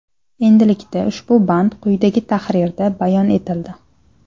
Endilikda ushbu band quyidagi tahrirda bayon etildi.